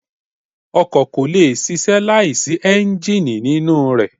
Ọkọ̀ kò lè ṣíṣe láìsí Ẹ́ńjíìnì nínú rẹ.